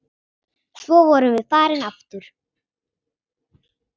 Svo vorum við farin aftur.